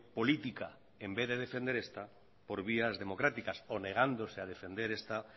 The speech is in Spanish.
política en vez de defender esta por vías democráticas o negándose a defender esta